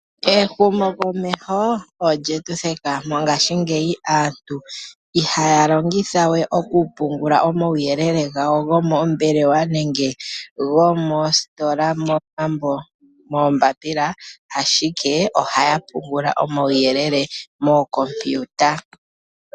Ehumokomeho olyetu theka. Mongashingeyi aantu ihaya longitha we oku pungula omauyelele gawo gomoombelewa nenge gomoositola momambo, ashike ohaya pungula omauyelele mookompiwuta.